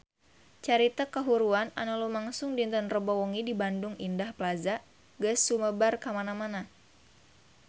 Carita kahuruan anu lumangsung dinten Rebo wengi di Bandung Indah Plaza geus sumebar kamana-mana